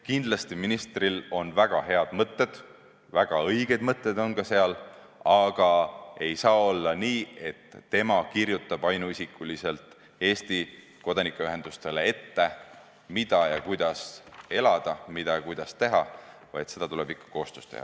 Kindlasti on ministril väga head mõtted, väga õiged mõtted, aga ei saa olla nii, et tema kirjutab ainuisikuliselt Eesti kodanikuühendustele ette, mida ja kuidas elada, mida ja kuidas teha, vaid seda tuleb teha ikka koostöös.